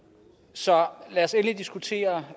så lad os endelig diskutere